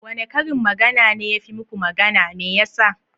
Wane karin magana ne ya fi yi muku magana? Me yasa?